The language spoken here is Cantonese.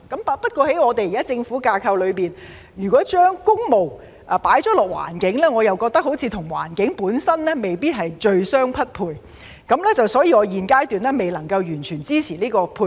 不過，在現時的政府架構裏，如果把工務配搭環境，我覺得好像與環境本身未必最相匹配，所以我現階段未能完全支持這個配搭。